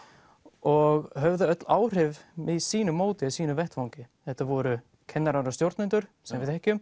og höfðu öll áhrif með sínu móti á sínum vettvangi þetta voru kennarar og stjórnendur sem við þekkjum